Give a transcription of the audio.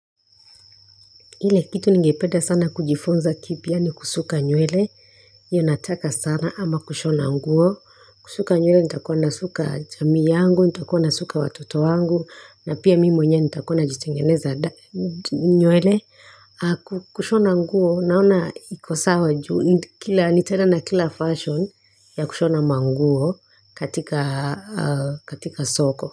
Kile kitu ningependa sana kujifunza kipya ni kusuka nywele. Hiyo nataka sana, ama kushona nguo. Kusuka nywele nitakuwa nasuka jamii yangu, nitakuwa nasuka watoto wangu. Na pia mimi mwenyewe nitakuwa najitengeneza nywele. Kushona nguo naona iko sawa juu, nita, kila, Nitela na kila fashion ya kushona manguo katika soko.